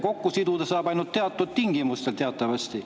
Kokku siduda tohib ainult teatud tingimustel teatavasti.